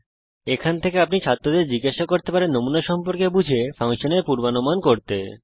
এই তথ্য থেকে আপনি ছাত্রদের জিজ্ঞাসা করতে পারেন যে নমুনা সম্পর্কে বুঝুক এবং ফাংশনের পূর্বানুমান করুক